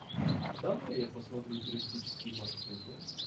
давай я посмотрю туристические маршруты